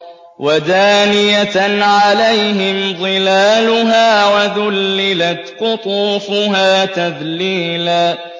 وَدَانِيَةً عَلَيْهِمْ ظِلَالُهَا وَذُلِّلَتْ قُطُوفُهَا تَذْلِيلًا